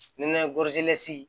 Nɛnɛ gosila si